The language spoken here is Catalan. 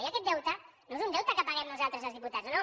i aquest deute no és un deute que paguem nosaltres els diputats no no